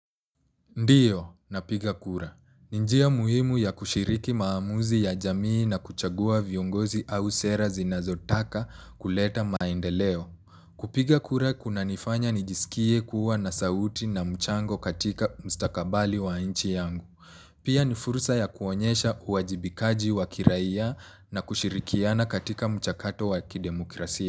Ndiyo, napiga kura. Ni njia muhimu ya kushiriki maamuzi ya jamii na kuchagua viongozi au sera zinazotaka kuleta maendeleo. Kupiga kura kuna nifanya nijisikie kuwa na sauti na mchango katika mstakabali wa nchi yangu. Pia ni fursa ya kuonyesha uwajibikaji wa kiraia na kushirikiana katika mchakato wa kidemokrasia.